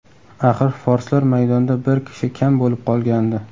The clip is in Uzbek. Axir, forslar maydonda bir kishi kam bo‘lib qolgandi.